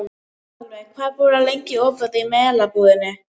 Aðalveig, hvað er lengi opið í Melabúðinni?